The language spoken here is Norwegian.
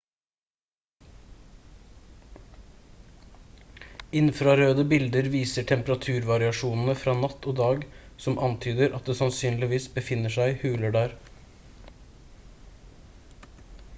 infrarøde bilder viser temperaturvariasjonene fra natt og dag som antyder at det sannsynligvis befinner seg huler der